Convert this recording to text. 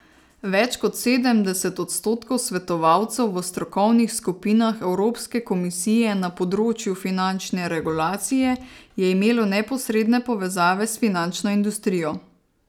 Več kot sedemdeset odstotkov svetovalcev v strokovnih skupinah evropske komisije na področju finančne regulacije je imelo neposredne povezave s finančno industrijo.